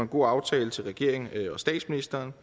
god aftale til regeringen og statsministeren